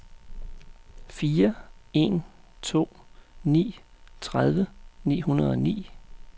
fire en to ni tredive ni hundrede og ni